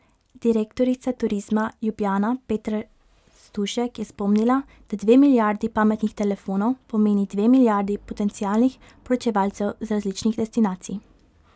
Direktorica Turizma Ljubljana Petra Stušek je spomnila, da dve milijardi pametnih telefonov pomeni dve milijardi potencialnih poročevalcev z različnih destinacij.